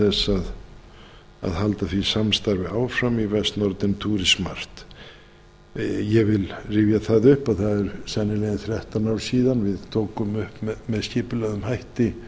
þess að halda því samstarfi áfram í vestnordenturist ég vil rifja það upp að það eru sennilega eins þrettán ár síðan að við tókum upp með skipulegum hætti